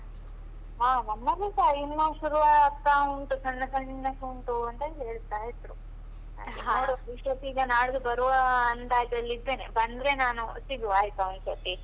ಹಾ ನಮ್ಮಲ್ಲಿಸಾ ಇನ್ನು ಶುರು ಆಗ್ತಾ ಉಂಟು ಸಣ್ಣ ಸಣ್ಣದುಂಟು ಅಂತ ಹೇಳ್ತಾ ಇದ್ರು. ಇಷ್ಟೊತ್ತಿಗ ನಾಲ್ದು ಬರುವ ಅಂದಾಜಲ್ಲಿದ್ದೇನೆ. ಬಂದ್ರೆ ನಾನು, ಸಿಗುವ ಆಯ್ತಾ ಒಂದ್ ಸತಿ.